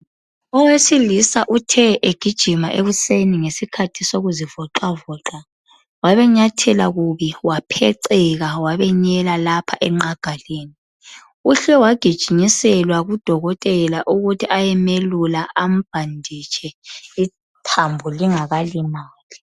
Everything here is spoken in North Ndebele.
Owesilisa uthe egijima ekuseni ngesikhathi sokuzivoxavoxa wabenyathela kubi wapheceka wabenyela lapha enqagaleni, uhle waginyinyiselwa kudokotela ukuthi ayemelula ambhanditshe ithambo lingakalimali.